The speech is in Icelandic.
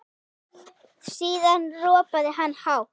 Síðan ropaði hann hátt.